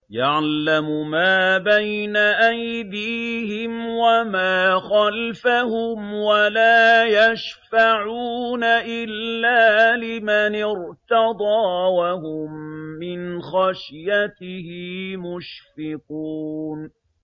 يَعْلَمُ مَا بَيْنَ أَيْدِيهِمْ وَمَا خَلْفَهُمْ وَلَا يَشْفَعُونَ إِلَّا لِمَنِ ارْتَضَىٰ وَهُم مِّنْ خَشْيَتِهِ مُشْفِقُونَ